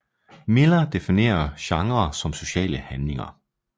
Miller definerer genrer som sociale handlinger